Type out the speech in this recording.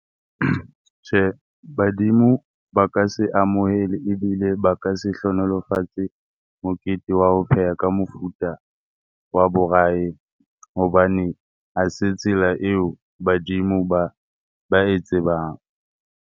Tjhe, badimo ba ka se amohele ebile ba ka se hlohonolofatse mokete wa ho pheha ka mofuta wa borayi hobane ho se tsela eo badimo ba ba e tsebang.